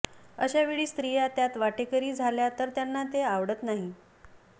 अशा वेळी स्त्रिया त्यात वाटेकरी झाल्या तर त्यांना ते आवडत नाही